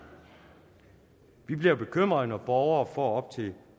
bliver bekymret når borgere får op til